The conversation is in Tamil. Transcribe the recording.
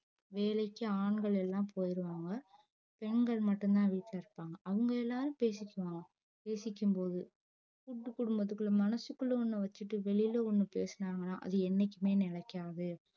வேலைக்கு ஆண்கள் எல்லா போயிருவாங்க பெண்கள் மட்டும் தான் வீட்ல இருப்பாங்க அவுங்க எல்லாரும் பேசிக்குவாங்க பேசிக்கும்போது கூட்டு குடும்பத்துக்குள்ள மனசுக்குள்ள ஒன்னு வச்சிட்டு வெளில ஒன்னு பேசுனாங்கனா அது என்னைக்குமே நிலைக்காது